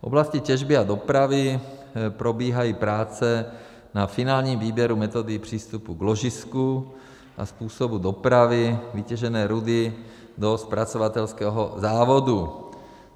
V oblasti těžby a dopravy probíhají práce na finálním výběru metody přístupu k ložisku a způsobu dopravy vytěžené rudy do zpracovatelského závodu.